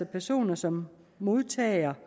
personer som modtager